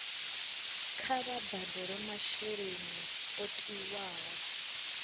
kha vha badele masheleni o tiwaho